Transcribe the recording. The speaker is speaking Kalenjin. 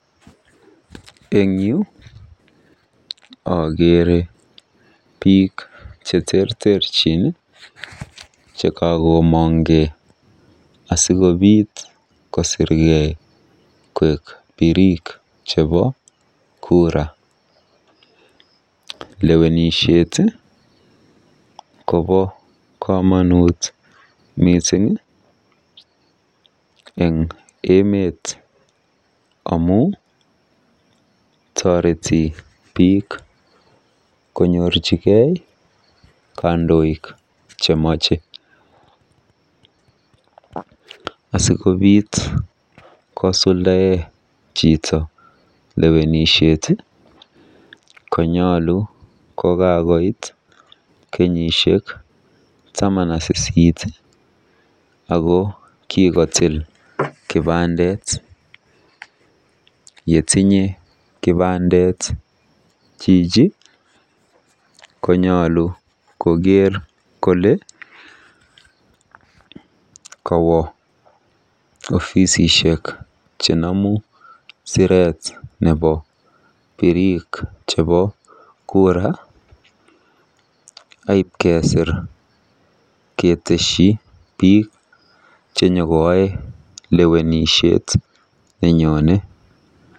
Eng yu akeere biik cheterterchin chekakomongkei asikobiit kosirkei koek biriik chebo kura. Lewenisiet kobo komonut mising eng emet amu tureti biik konyorjigei kandoik chemache. Asikobiit kosuldae chito lewenisiet konyolu kokakoit kenyisiek tamanak sisit ako kikotiil kipandet. Yetinye kipandet chichi konyolu kokeer kole ofisishek chenomu siret nebo birik chebo kura aibkesiir keteshi biik chenyokoaei lewenisiet nenyone.